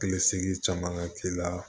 Hakili sigi caman ka k'i la